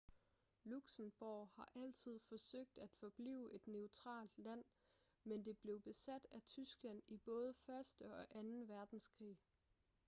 luxembourg har altid forsøgt at forblive et neutralt land men det blev besat af tyskland i både første og anden verdenskrig